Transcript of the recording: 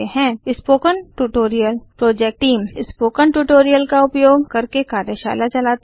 spoken tutorial project team spoken tutorials का उपयोग करके कार्यशाला चलाती है